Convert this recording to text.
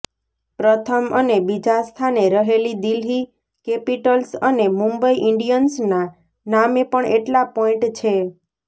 પ્રથમ અને બીજા સ્થાને રહેલી દિલ્હી કેપિટલ્સ અને મુંબઈ ઈન્ડિયન્સના નામે પણ એટલા પોઈન્ટ છે